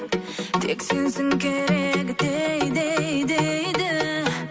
тек сенсің керегі дей дей дейді